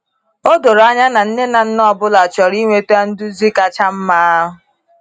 O doro anya na nne na nna ọ bụla chọrọ inweta nduzi kacha mma.